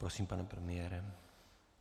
Prosím, pane premiére.